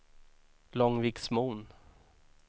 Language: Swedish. Långviksmon